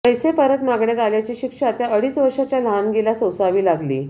पैसे परत मागण्यात आल्याची शिक्षा त्या अडीच वर्षाच्या लहानगीला सोसावी लागली